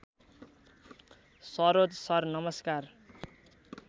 Saroj sir नमस्कार